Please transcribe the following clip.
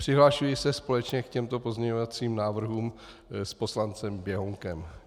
Přihlašuji se společně k těmto pozměňovacím návrhům s poslancem Běhounkem.